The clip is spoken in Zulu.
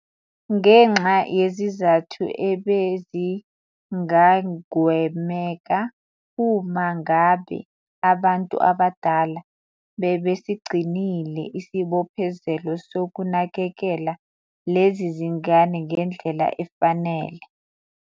.ngenxa yezizathu ebezingagwemeka, uma ngabe abantu abadala bebesigcinile isibophezelo sokunakekela lezi zingane ngendlela efanele.